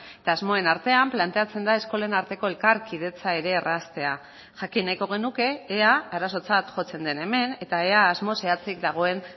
eta asmoen artean planteatzen da eskolen arteko elkarkidetza ere erraztea jakin nahiko genuke ea arazotzat jotzen den hemen eta ea asmo zehatzik dagoen